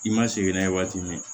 I ma sigi n'a ye waati min na